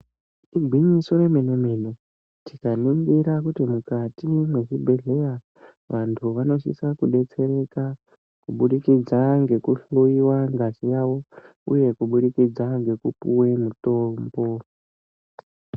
Igwinyiso remene-mene, tikaningira kuti mukati mwezvibhedhleya, vantu vanosisa kudetsereka kubudikidza ngekuhloiwa ngazi yavo, uye kubudikidza ngekupihwe mutombo.